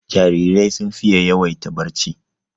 Jarirai sun fiye yawaita barci